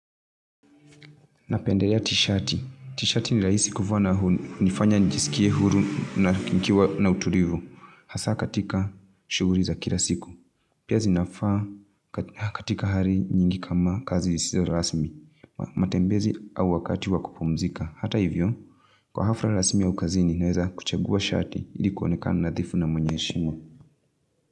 Napendelea t-shati. T-shati nirahisi kuvaa na hunifanya njisikie huru na nikiwa na utulivu. Hasa katika shughuli za kila siku. Pia zinafaa katika hali nyingi kama kazi sio rasmi. Matembezi au wakati wa kupumzika. Hata hivyo, kwa hafla rasmi au kazini naweza kuchagua shati ili kuonekana nadhifu na mwenye heshima.